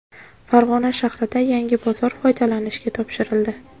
Farg‘ona shahrida yangi bozor foydalanishga topshirildi.